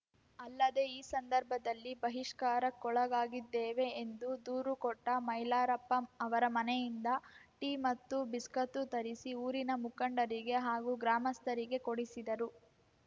ಅಲ್ಲದೇ ಈ ಸಂದರ್ಭದಲ್ಲಿ ಬಹಿಷ್ಕಾರಕ್ಕೊಳಗಾಗಿದ್ದೇವೆ ಎಂದು ದೂರು ಕೊಟ್ಟ ಮೈಲಾರಪ್ಪ ಅವರ ಮನೆಯಿಂದ ಟೀ ಮತ್ತು ಬಿಸ್ಕತ್ತು ತರಿಸಿ ಊರಿನ ಮುಖಂಡರಿಗೆ ಹಾಗೂ ಗ್ರಾಮಸ್ಥರಿಗೆ ಕೊಡಿಸಿದರು